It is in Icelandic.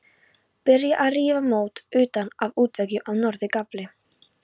Byrjað að rífa mót utan af útveggjum á norður gafli.